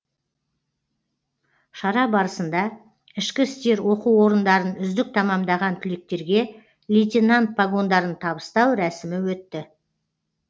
шара барысында ішкі істер оқу орындарын үздік тәмамдаған түлектерге лейтенант погондарын табыстау рәсімі өтті